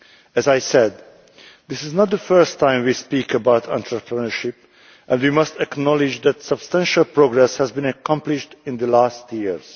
As I said, this is not the first time we have spoken about entrepreneurship, and we must acknowledge that substantial progress has been accomplished in the last few years.